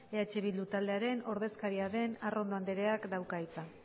eh bildu taldearen ordezkaria den arrondo andreak dauka hitza